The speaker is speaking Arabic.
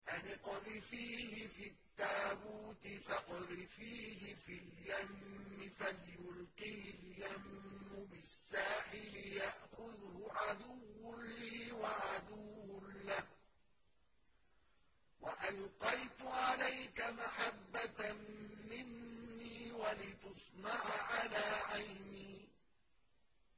أَنِ اقْذِفِيهِ فِي التَّابُوتِ فَاقْذِفِيهِ فِي الْيَمِّ فَلْيُلْقِهِ الْيَمُّ بِالسَّاحِلِ يَأْخُذْهُ عَدُوٌّ لِّي وَعَدُوٌّ لَّهُ ۚ وَأَلْقَيْتُ عَلَيْكَ مَحَبَّةً مِّنِّي وَلِتُصْنَعَ عَلَىٰ عَيْنِي